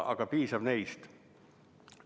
Aga piisab neist.